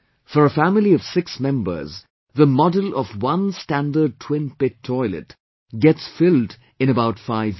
For a family of six members, the model of one standard Twin Pit Toilet gets filled in about five years